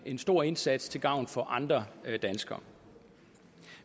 en stor indsats til gavn for andre danskere